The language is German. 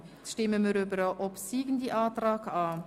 Wir stimmen nun über den obsiegenden Antrag ab.